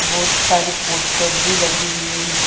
बहोत सारी पोस्टर भी लगे हुए है।